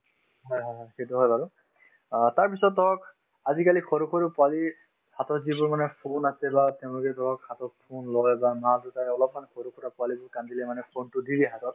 হয় হয় হয় সেইটো হয় বাৰু অ তাৰপিছত ধৰক আজিকালি সৰু সৰু পোৱালিৰ হাতত যিবোৰ মানে phone আছে বা তেওঁলোকে ধৰক হাতত phone লই বা মা-দেউতাকে অলপমান সৰুৰ পৰা পোৱালিটো কান্দিলে মানে phone তো দি দিয়ে হাতত